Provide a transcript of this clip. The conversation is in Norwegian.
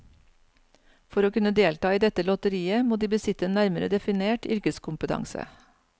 For å kunne delta i dette lotteriet må de besitte en nærmere definert yrkeskompetanse.